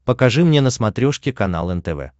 покажи мне на смотрешке канал нтв